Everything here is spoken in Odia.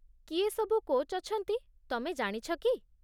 କିଏ ସବୁ କୋଚ୍ ଅଛନ୍ତି, ତମେ ଜାଣିଛ କି?